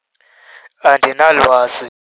Andinalwazi